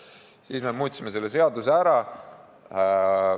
Ja siis me muutsime selle seaduse ära.